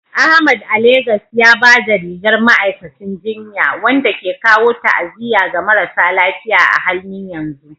Ahmad a Legas ya ba da rigar ma'aikacin jinya, wanda ke kawo ta'aziyya ga marasa lafiya a halin yanzu.